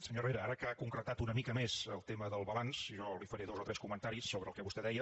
senyor herrera ara que ha concretat una mica més el tema del balanç jo li faré dos o tres comentaris sobre el que vostè deia